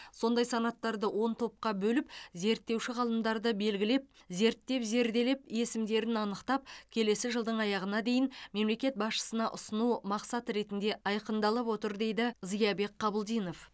сондай санаттарды он топқа бөліп зерттеуші ғалымдарды белгілеп зерттеп зерделеп есімдерін анықтап келесі жылдың аяғына дейін мемлекет басшысына ұсыну мақсат ретінде айқындалып отыр дейді зиябек қабылдинов